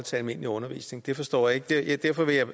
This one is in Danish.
til almindelig undervisning forstår jeg ikke derfor vil jeg